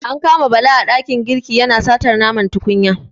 An kama Bala a ɗakin girki yana satar nama a tukunya.